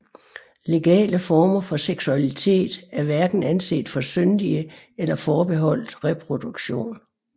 Legale former for seksualitet er hverken anset for syndige eller forbeholdt reproduktion